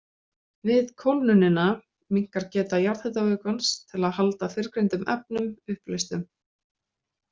Við kólnunina minnkar geta jarðhitavökvans til að halda fyrrgreindum efnum uppleystum.